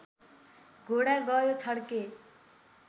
घोडा गयो छड्के